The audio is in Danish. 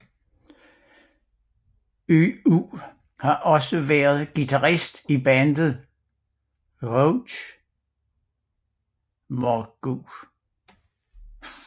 Yu har også været guitarist i bandet Rouge Morgue